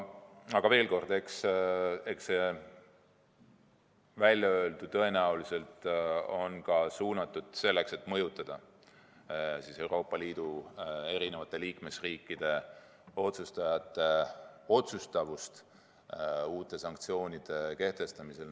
Aga veel kord, eks Venemaa väljaöeldu on tõenäoliselt suunatud ka sellele, et mõjutada Euroopa Liidu liikmesriikide otsustajate otsustavust uute sanktsioonide kehtestamisel.